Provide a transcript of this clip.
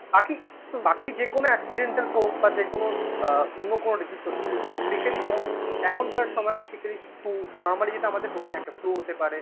বাকি বাকি যেকোনো accidental হোক বা যেকোনো আ অন্য কোন diseases হচ্ছে, যে specially যেমন এখনকার সময় Basically flue normally যেটা আমাদের হয়ে থাকে. flue হতে পারে